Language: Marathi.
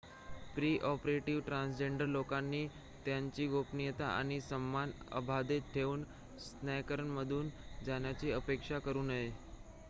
प्री-ऑपरेटिव्ह ट्रान्सजेंडर लोकांनी त्यांची गोपनीयता आणि सन्मान अबाधित ठेवून स्कॅनरमधून जाण्याची अपेक्षा करू नये